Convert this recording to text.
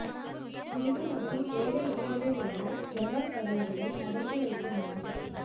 வீடு மற்றும் வேலையிடங்களில் உள்ள ஜன்னல் கதவுகளை அடைத்து வைக்க வேண்டும்